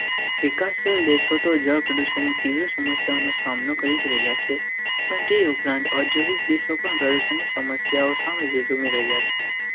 વિકાસશીલ દેશો તો જળ પ્રદૂષણની તીવ્ર સમસ્યાનો સામનો કરી રહ્યા છે, પણજી ઉપરાંત ઔદ્યોગિક દેશો પણ પ્રદર્શનની સમસ્યાઓ સામે ઝઝૂમી રહ્યાંજી.